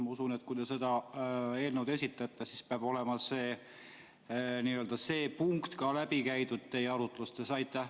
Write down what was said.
Ma usun, et kui te seda eelnõu esitate, siis peab olema see punkt ka läbi käidud teie arutlustes.